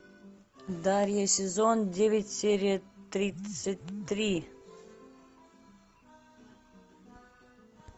дарья сезон девять серия тридцать три